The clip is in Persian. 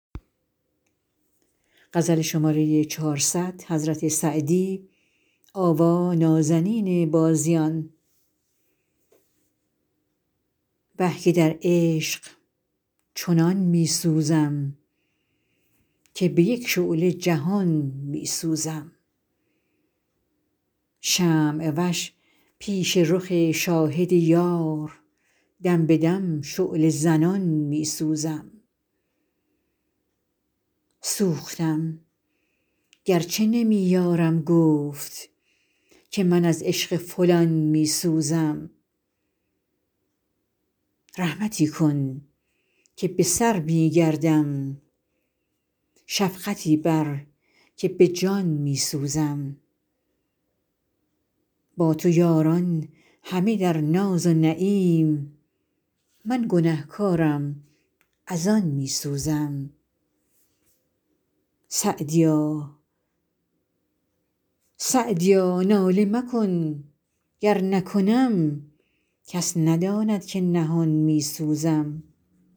وه که در عشق چنان می سوزم که به یک شعله جهان می سوزم شمع وش پیش رخ شاهد یار دم به دم شعله زنان می سوزم سوختم گر چه نمی یارم گفت که من از عشق فلان می سوزم رحمتی کن که به سر می گردم شفقتی بر که به جان می سوزم با تو یاران همه در ناز و نعیم من گنه کارم از آن می سوزم سعدیا ناله مکن گر نکنم کس نداند که نهان می سوزم